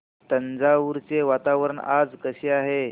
तंजावुर चे वातावरण आज कसे आहे